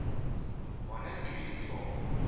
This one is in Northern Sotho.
gona ke be ke thoma